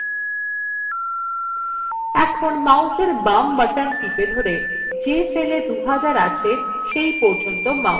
এখন mouse এর বাম button টিপে ধরে যে cellএ ২০০০ আছে cell পর্যন্ত mouse টেনে আনুন